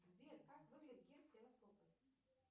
сбер как выглядит герб севастополя